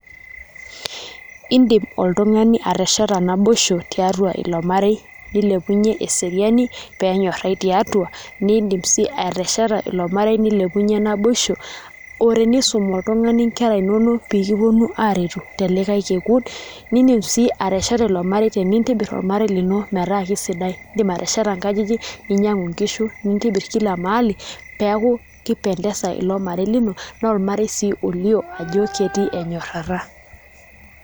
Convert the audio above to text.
iiidim oltungani atesheeta naboisho tiatua iloo marei nilipunye eseriani peenonyarai tiatua niidim siii atesheta ilo marei nilepunye naboisho oo tenisum oltungani inkera inonok pee kigil aretu te likae kikungun nidiim sii atesheta ilo marei neeintobir ormarei lino metaa kesidai iidim ateshata nkajijik ninyangu nkishu nintibiir kila mahali peeyie eaku kipendeza ilo marei lino naa ormarei sii olio ajoo ketii enyorata